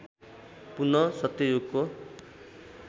पुनः सत्ययुगको